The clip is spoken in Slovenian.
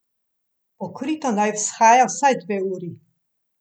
Pokrito naj vzhaja vsaj dve uri.